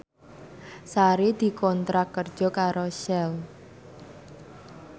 Sari dikontrak kerja karo Shell